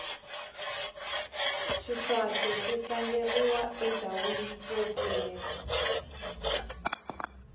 xiswathe xi tlangeriwa endhawini yo pfuleka